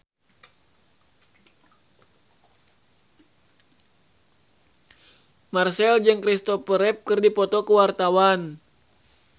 Marchell jeung Christopher Reeve keur dipoto ku wartawan